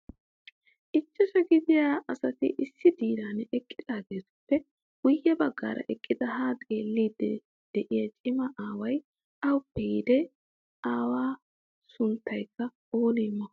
Ichashsha gidiya asati issi diran eqqidaageetuppe guyye baggaara eqqidi haa xeellidi de'iyaa cima aaway awuppe yiide? Awu sunttaykka oonee m